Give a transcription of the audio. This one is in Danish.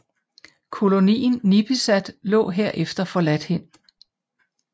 Kolonien Nipisat lå herefter forladt hen